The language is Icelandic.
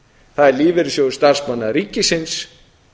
það er lífeyrissjóður starfsmanna ríkisins